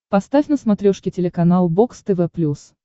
поставь на смотрешке телеканал бокс тв плюс